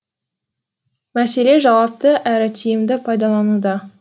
мәселе жауапты әрі тиімді пайдалануда